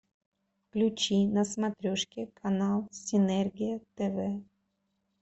включи на смотрешке канал синергия тв